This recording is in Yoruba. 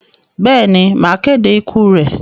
Bẹ́ẹ̀ ni, màá kéde ikú rẹ̀.